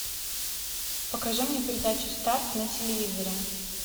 покажи мне передачу старт на телевизоре